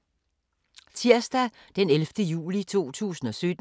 Tirsdag d. 11. juli 2017